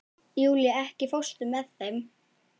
Júlía, ekki fórstu með þeim?